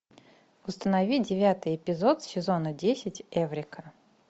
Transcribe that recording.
установи девятый эпизод сезона десять эврика